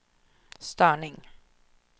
störning